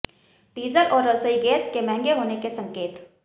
diesel और रसोई gas के महंगे होने के संकेत